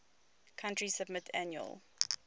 country submit annual